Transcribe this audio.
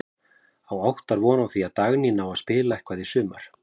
Á Óttar von á því að Dagný nái að spila eitthvað í sumar?